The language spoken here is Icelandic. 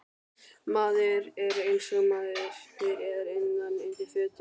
Maður er einsog maður er innan undir fötunum.